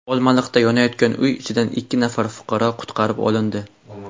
Olmaliqda yonayotgan uy ichidan ikki nafar fuqaro qutqarib olindi.